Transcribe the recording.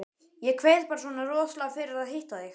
Ég kveið bara svona rosalega fyrir að hitta þig.